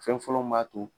Fɛn fɔlɔ min b'a to